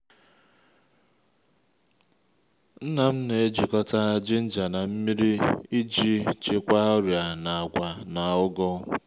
nna m na-ejikọta jinja na nmiri iji chịkwaa ọrịa na’agwa na ugu